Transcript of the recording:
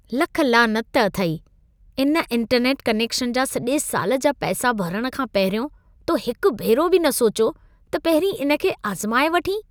लख लानत अथई! इहो इंटरनेट कनेक्शन जा सॼे साल जा पैसा भरण खां पहिरियों तो हिक भेरो बि न सोचियो त पहिरीं इन खे आज़माए वठीं?